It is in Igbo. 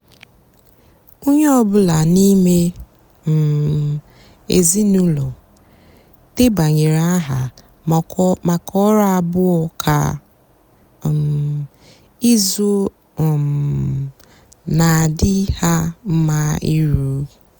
ónyé ọ bụlà n'ímé um ézinụlọ debanyere áhà mákà ọrụ abúọ kwá um ízú ọ um nà-àdị hà mmá ịrù.